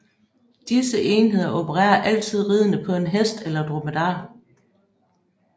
Disse enheder opererer altid ridende på en hest eller dromedar